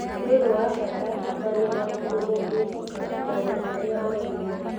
Nĩ ũndũ wa bata kwaria na mũndũ ũngĩhoka maũndũ marĩa ũraigua.